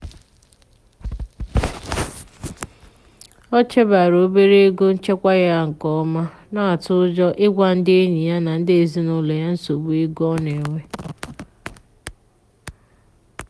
ọ chebere obere ego nchekwa ya nke ọma na-atụ ụjọ ịgwa ndi enyi na ndị ezinụlọ ya nsogbu ego ọ na-enwe.